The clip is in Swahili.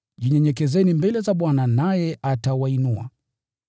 Jinyenyekezeni mbele za Bwana, naye atawainua.